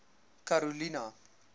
karolina